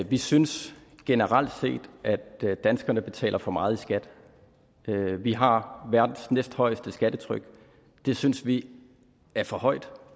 vi synes generelt set at danskerne betaler for meget i skat vi har verdens næsthøjeste skattetryk og det synes vi er for højt